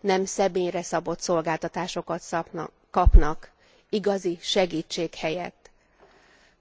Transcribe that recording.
Nem személyre szabott szolgáltatásokat kapnak, igazi segítség helyett,